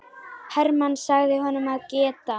Hermann sagði honum að geta.